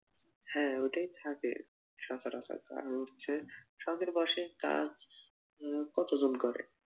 হ্যাঁ ওটাই থাকে সচরাচর কারণ হচ্ছে শখের বশে কাজ উহ কতজন করে।